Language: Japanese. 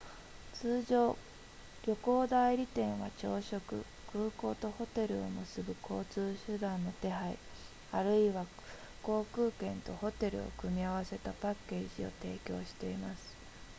通常旅行代理店は朝食空港とホテルを結ぶ交通手段の手配あるいは航空券とホテルを組み合わせたパッケージを提供しています